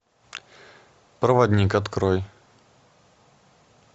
проводник открой